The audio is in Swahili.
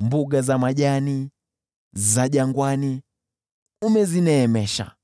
Mbuga za majani za jangwani umezineemesha;